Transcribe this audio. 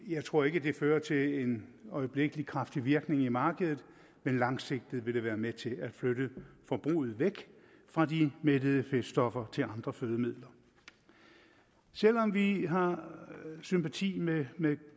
jeg tror ikke at det fører til en øjeblikkelig kraftig virkning i markedet men langsigtet vil det være med til at flytte forbruget væk fra de mættede fedtstoffer til andre fødemidler selv om vi har sympati med med